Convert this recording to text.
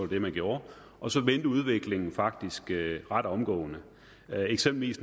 det man gjorde og så vendte udviklingen faktisk ret omgående eksempelvis